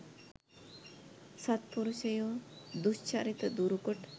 සත්පුරුෂයෝ දුශ්චරිත දුරු කොට